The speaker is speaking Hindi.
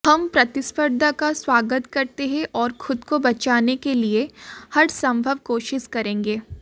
हम प्रतिस्पर्धा का स्वागत करते हैं और खुद को बचाने के लिए हरसंभव कोशिश करेंगे